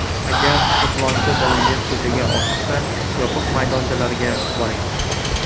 Agar to‘polonchi bolangiz ko‘chaga oshiqsa, yopiq maydonchalarga boring.